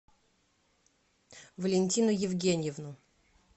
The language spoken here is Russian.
валентину евгеньевну